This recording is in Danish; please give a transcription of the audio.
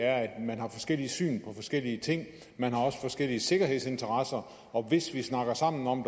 at man har forskellige syn på forskellige ting man har også forskellige sikkerhedsinteresser og hvis vi snakker sammen om